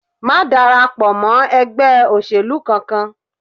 Má darapọ̀ mọ́ ẹgbẹ́ òṣèlú kankan